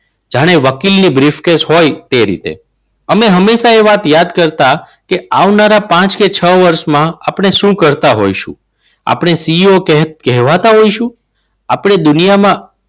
જાણે વકીલને briefcase હોય. એ રીતે અને હંમેશા એ વાત યાદ કરતા કે આવનારા પાંચ કે છ વર્ષમાં આપણે શું કરતા હોય છે આપણે CEO કહેવાતા હોય શું? આપણે દુનિયામાં